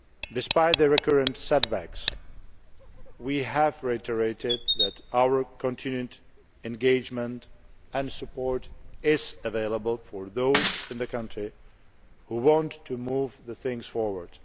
Despite the recurrent setbacks, we have reiterated that our continued engagement and support is available for those in the country who want to move things forward.